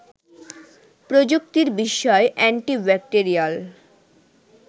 প্রযুক্তির বিস্ময় anti bacterial